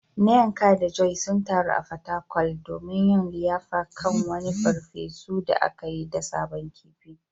Nneka da Joy sun taru a Fatakwal domin yin liyafa kan wani farfesu da aka yi da sabon kifi.